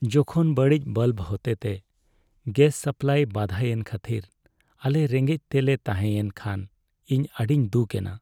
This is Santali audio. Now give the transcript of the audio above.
ᱡᱚᱠᱷᱚᱱ ᱵᱟᱹᱲᱤᱡ ᱵᱟᱞᱵ ᱦᱚᱛᱮᱛᱮ ᱜᱮᱥ ᱥᱟᱯᱞᱟᱭ ᱵᱟᱫᱷᱟᱭᱮᱱ ᱠᱷᱟᱹᱛᱤᱨ ᱟᱞᱮ ᱨᱮᱸᱜᱮᱡ ᱛᱮᱞᱮ ᱛᱟᱦᱮᱸᱭᱮᱱ ᱠᱷᱟᱱ ᱤᱧ ᱟᱹᱰᱤᱧ ᱫᱩᱠ ᱮᱱᱟ ᱾